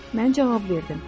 Mən cavab verdim.